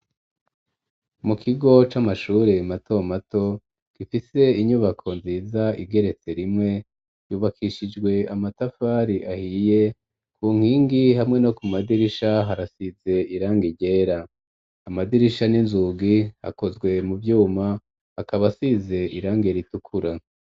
Mu kigo c'amashuri mato mato, gifite inyubako nziza igeretse rimwe, yubakishijwe amatafari ahiye, ku nkingi hamwe no ku madirisha harasize irangi ryera; amadirisha n'inzugi akozwe mu vyuma akaba asize irangi ritukura.